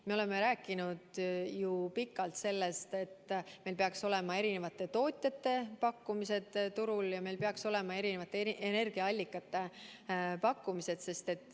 Me oleme ju pikalt rääkinud sellest, et meil peaks turul olema eri tootjate pakkumised, et meil peaks olema erinevate energiaallikate pakkumised.